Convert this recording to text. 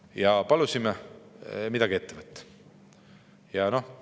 Ja me palusime midagi ette võtta.